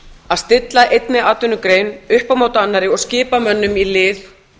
að stilla einni atvinnugrein upp á móti annarri og skipa mönnum í lið